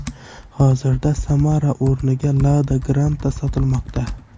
Hozirda Samara o‘rniga Lada Granta sotilmoqda.